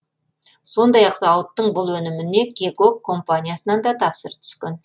сондай ақ зауыттың бұл өніміне кегок компаниясынан да тапсырыс түскен